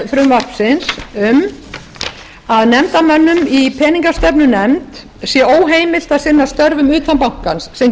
frumvarpsins um að nefndarmönnum í peningastefnunefnd sé óheimilt að sinna störfum utan bankans sem